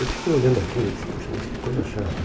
Eu fiquei olhando aquilo e disse, poxa, mas que coisa chata.